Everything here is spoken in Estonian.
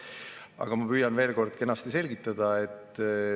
Aga ma püüan veel kord kenasti selgitada.